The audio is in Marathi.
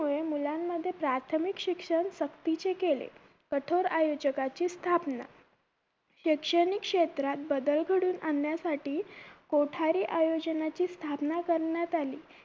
मुळे मुलांमध्ये प्राथमिक शिक्षण सक्तीचे केले कठोर आयोजकाची स्थापना शैक्षणिक क्षेत्रात बदल घडवून आणण्यासाठी कोठारी आयोजनाची स्थापना करण्यात आली